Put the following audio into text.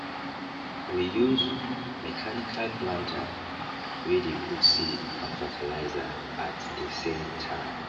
we use mechanical planter wey dey put seed and fertilizer at dey same time